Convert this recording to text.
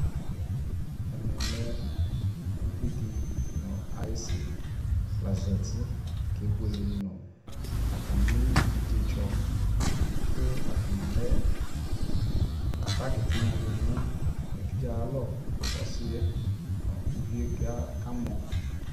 ɛmɛ lɛ ʋvidi nʋ ayisi la zati kɛ bʋɛlɛ nʋ atami ɛvidzɛ tsɔ kʋ atani alɛ bagi tinya dinʋ ɛvidzɛ ayialɔ kʋ ɔsiiɛ nʋ ʋviɛ kamɔ